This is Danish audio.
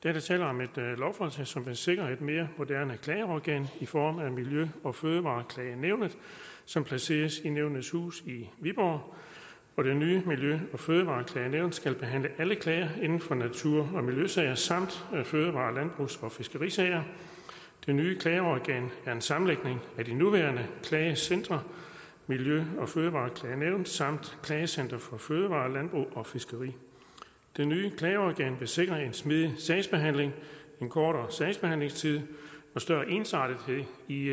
er der tale om et lovforslag som vil sikre et mere moderne klageorgan i form af miljø og fødevareklagenævnet som placeres i nævnenes hus i viborg og det nye miljø og fødevareklagenævn skal behandle alle klager inden for natur og miljøsager samt fødevare landbrugs og fiskerisager det nye klageorgan er en sammenlægning af de nuværende klagecentre miljø og fødevareklagenævn samt klagecenter for fødevarer landbrug og fiskeri det nye klageorgan vil sikre en smidig sagsbehandling en kortere sagsbehandlingstid og større ensartethed i